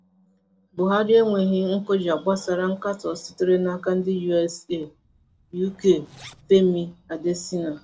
Buhari enweghi nkụja gbasara nkatọ sitere n'aka ndị US, UK -Femi Adesina.